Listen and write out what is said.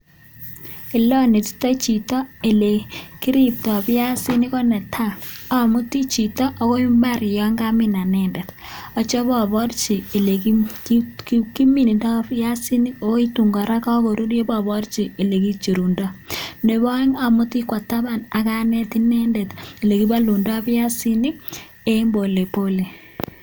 Oletotaii chitoo alechini piasik komiteii chekararanen nea akalenjiii nyooon amutin taban anetin. olekichoptaiii AK.olekipalundaii piasiik chutok